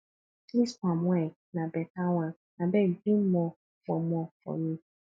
dis palm wine na beta one abeg bring more for more for me